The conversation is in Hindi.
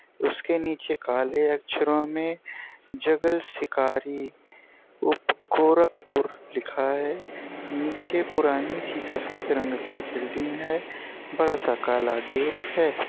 उसके निचे काले अक्षरों में जगल शिकारी उफ गोरखपुर लिखा है निचे पुरानी सी सफ़ेद रंग की बिल्डिंग है बड़ा सा काला गेट है।